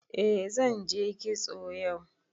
Eh zanje kitso yau